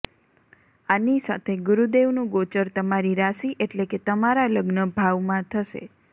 આની સાથે ગુરુ દેવ નું ગોચર તમારી રાશિ એટલે કે તમારા લગ્ન ભાવ માં થશે